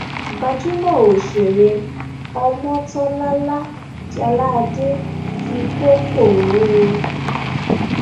gbajúmọ òṣèré ọmọńtólàlá jáládé ti kọ koro o